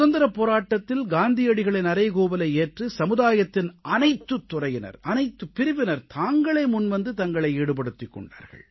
சுதந்திரப் போராட்டத்தில் காந்தியடிகளின் அறைகூவலை ஏற்று சமுதாயத்தின் அனைத்துத் துறையினர் அனைத்துப் பிரிவினர் தாங்களே முன்வந்து தங்களை ஈடுபடுத்திக் கொண்டார்கள்